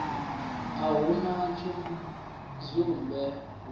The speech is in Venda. a hu na tshidzumbe hu